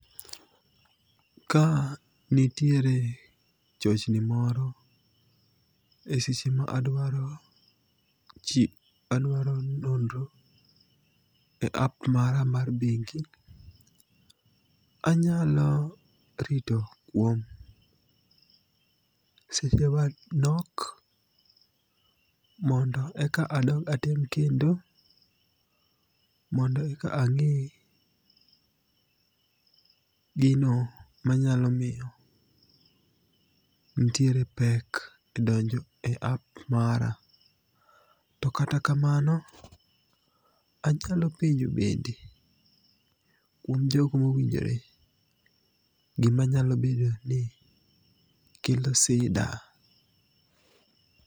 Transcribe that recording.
Ka nitiere chochni moro e seche ma adwaro nonro e app mara mar bengi, anyalo rito kuom seche manok, mondo eka atem kendo mondo eka ang'e gino manyalo miyo nitiere pek e donjo e app mara. To kata kamano, anyalo penjo bende kuom jogo mowinjore gima nyalo bedo ni kelo sida.